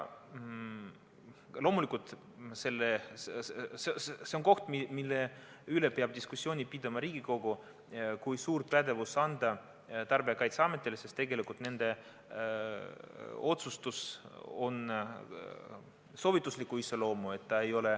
Loomulikult, see on koht, mille üle peab Riigikogu diskussiooni pidama, kui suur pädevus Tarbijakaitseametile anda, sest tegelikult on nende otsustus soovitusliku iseloomuga.